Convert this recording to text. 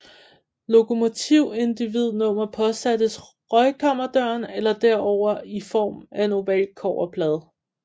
Lokomotiv individnummer påsattes røgkammerdøren eller derover i form af en oval kobberplade